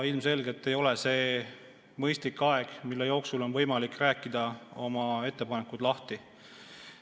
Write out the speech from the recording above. Ilmselgelt ei ole see mõistlik aeg, mille jooksul on võimalik oma ettepanekud lahti rääkida.